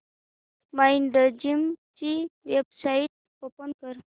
Mindgym ची website open कर